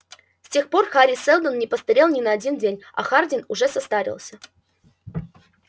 с тех пор хари сэлдон не постарел ни на один день а хардин уже состарился